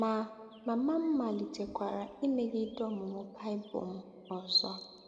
Ma, mama m malitekwara imegide ọmụmụ Baịbụl m ọzọ.